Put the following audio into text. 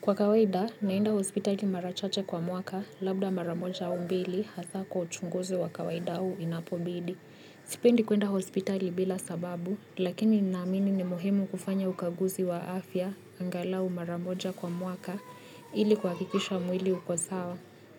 Kwa kawaida, naenda hospitali mara chache kwa mwaka, labda mara moja au mbili, hasa kwa uchunguzi wa kawaida au inapobidi. Sipendi kwenda hospitali bila sababu, lakini ninaamini ni muhimu kufanya ukaguzi wa afya angalau mara moja kwa mwaka ili kuhakikisha mwili uko sawa.